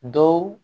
Dɔw